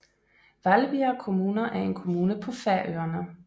Hvalbiar kommuna er en kommune på Færøerne